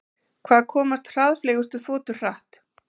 Hvað komast hraðfleygustu þotur hratt?